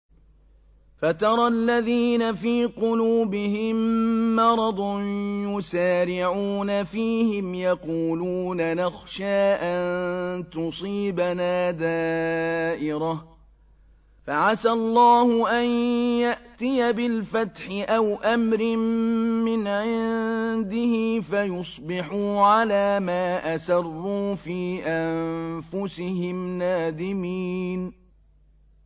فَتَرَى الَّذِينَ فِي قُلُوبِهِم مَّرَضٌ يُسَارِعُونَ فِيهِمْ يَقُولُونَ نَخْشَىٰ أَن تُصِيبَنَا دَائِرَةٌ ۚ فَعَسَى اللَّهُ أَن يَأْتِيَ بِالْفَتْحِ أَوْ أَمْرٍ مِّنْ عِندِهِ فَيُصْبِحُوا عَلَىٰ مَا أَسَرُّوا فِي أَنفُسِهِمْ نَادِمِينَ